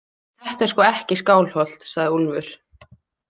Þetta er sko ekki Skálholt, sagði Úlfur.